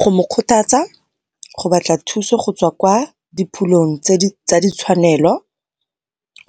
Go mo kgothatsa go batla thuso go tswa kwa di phulong tsa ditshwanelo,